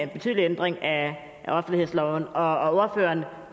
betydelig ændring af offentlighedsloven og ordføreren